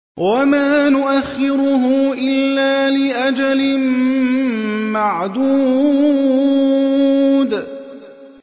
وَمَا نُؤَخِّرُهُ إِلَّا لِأَجَلٍ مَّعْدُودٍ